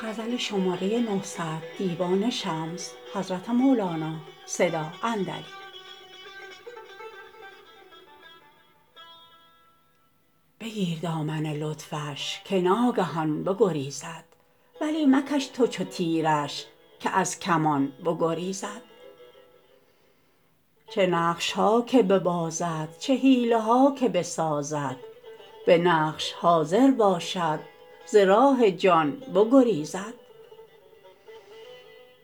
بگیر دامن لطفش که ناگهان بگریزد ولی مکش تو چو تیرش که از کمان بگریزد چه نقش ها که ببازد چه حیله ها که بسازد به نقش حاضر باشد ز راه جان بگریزد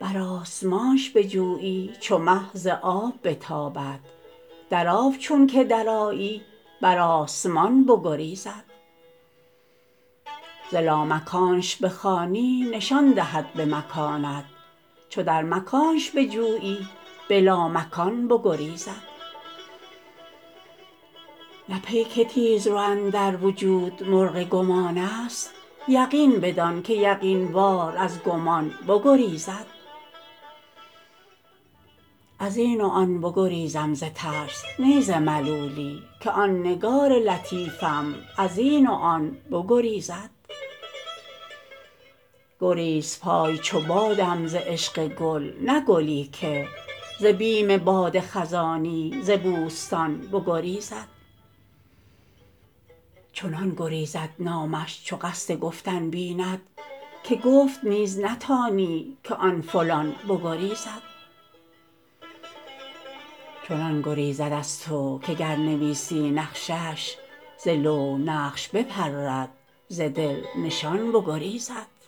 بر آسمانش بجویی چو مه ز آب بتابد در آب چونک درآیی بر آسمان بگریزد ز لامکانش بخوانی نشان دهد به مکانت چو در مکانش بجویی به لامکان بگریزد نه پیک تیزرو اندر وجود مرغ گمانست یقین بدان که یقین وار از گمان بگریزد از این و آن بگریزم ز ترس نی ز ملولی که آن نگار لطیفم از این و آن بگریزد گریزپای چو بادم ز عشق گل نه گلی که ز بیم باد خزانی ز بوستان بگریزد چنان گریزد نامش چو قصد گفتن بیند که گفت نیز نتانی که آن فلان بگریزد چنان گریزد از تو که گر نویسی نقشش ز لوح نقش بپرد ز دل نشان بگریزد